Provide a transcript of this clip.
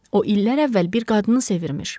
O illər əvvəl bir qadını sevirmiş.